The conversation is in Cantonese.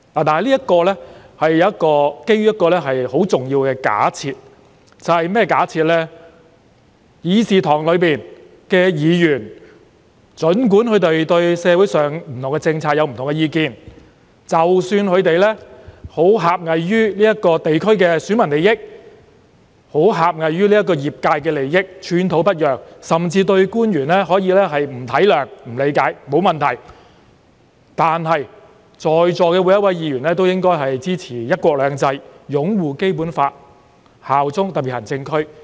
不過，這建基於一項很重要的假設，便是儘管議員在會議廳內對社會上各項政策持不同意見，或會狹隘於地區的選民利益或業界利益而寸土不讓，甚或對官員不體諒、不理解，也沒有問題，但在座各位議員皆要支持"一國兩制"、擁護《基本法》、效忠香港特別行政區。